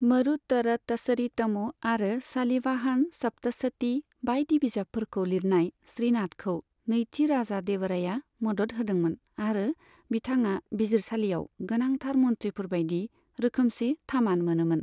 मरुतरतचरितमु आरो सालिवाहन सप्तसती बायदि बिजाबफोरखौ लिरनाय श्रीनाथखौ नैथि राजा देवरायआ मदद होदोंमोन आरो बिथाङा बिजिरसालियाव गोनांथार मन्थ्रिफोरबायदि रोखोमसे थामान मोनोमोन।